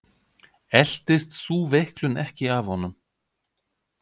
Eltist sú veiklun ekki af honum.